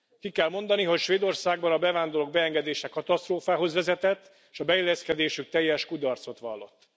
Ki kell mondani, hogy Svédországban a bevándorlók beengedése katasztrófához vezetett, és a beilleszkedésük teljes kudarcot vallott.